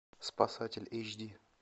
спасатель эйч ди